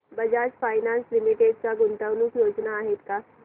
Bajaj finance limited च्या गुंतवणूक योजना आहेत का